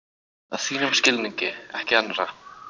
Að þínum skilningi, ekki annarra.